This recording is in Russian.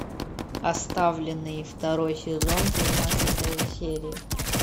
оставленные второй сезон тринадцатая серия